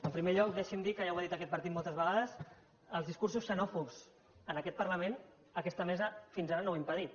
en primer lloc deixi’m dir que ja ho ha dit aquest par·tit moltes vegades els discursos xenòfobs en aquest parlament aquesta mesa fins ara no els ha impedit